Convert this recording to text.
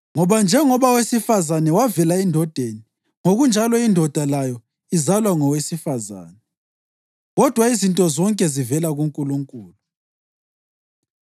Ngoba njengoba owesifazane wavela endodeni, ngokunjalo indoda layo izalwa ngowesifazane. Kodwa izinto zonke zivela kuNkulunkulu.